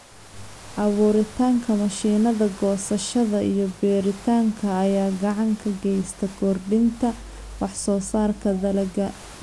Abuuritaanka mashiinnada goosashada iyo beeritaanka ayaa gacan ka geysta kordhinta wax soo saarka dalagga.